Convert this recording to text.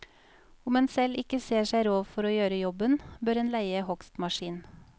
Om en selv ikke ser seg råd for å gjøre jobben, bør en leie hogstmaskin.